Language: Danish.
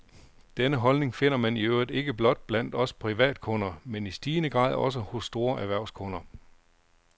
Denne holdning finder man i øvrigt ikke blot blandt os privatkunder, men i stigende grad også hos store erhvervskunder.